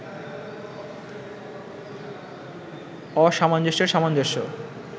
অসামঞ্জস্যের সামঞ্জস্য